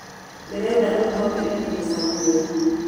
Ndĩrenda rĩu twambĩrĩrie mũcemanio.